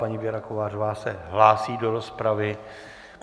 Paní Věra Kovářová se hlásí do rozpravy.